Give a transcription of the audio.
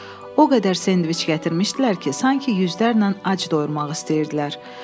O qədər sendviç gətirmişdilər ki, sanki yüzlərlə ac doyurmaq istəyirdilər.